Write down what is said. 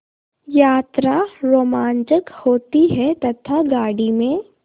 यात्रा रोमांचक होती है तथा गाड़ी में